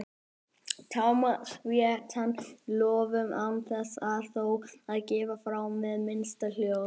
tám og sveittum lófum án þess þó að gefa frá mér hið minnsta hljóð.